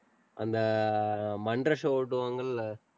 அந்த அஹ் மன்றம் show ஓட்டுவாங்கள்ல,